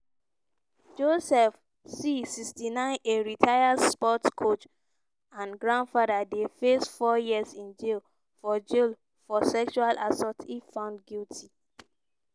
joseph c 69 a retired sports coach and grandfather dey face four years in jail for jail for sexual assault if found guilty.